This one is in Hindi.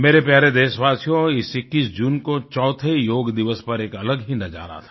मेरे प्यारे देशवासियो इस 21 जून को चौथे योग दिवस पर एक अलग ही नज़ारा था